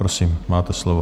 Prosím, máte slovo.